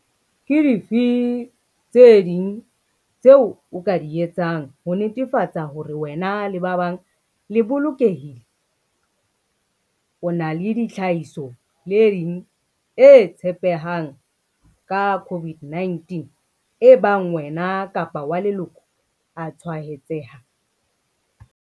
Ke dife tse ding tseo o ka di etsang ho netefatsa hore wena le ba bang le bolokehile? O na le tlhahisoleding e tshepehang ka COVID-19 ebang wena kapa wa leloko a tshwaetseha?